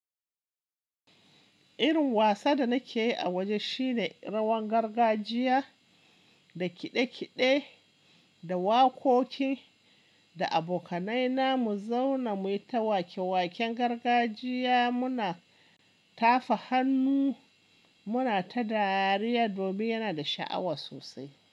Irin wasa da nake yi a waje shine rawan gargajiya da kiɗe-kiɗe da waƙoƙi. Da abokanai na mu zauna muyita wake-waken gargajiya muna tafa hannu muna ta dariya domin yana da sha'awa sosai.